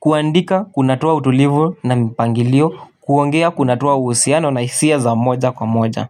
kuandika kunatoa utulivu na mpangilio, kuongea kunatoa usiano na hisia za moja kwa moja.